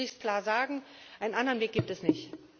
So will ich es klar sagen, einen anderen Weg gibt es nicht.